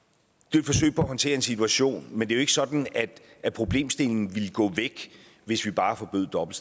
forsøg på at håndtere en situation men det er jo ikke sådan at at problemstillingen ville gå væk hvis vi bare forbød dobbelt